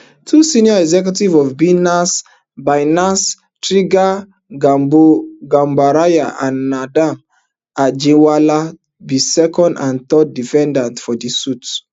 two senior executives of binance binance tigran gambaryan and nadeem anjarwalla be second and third defendants for di suit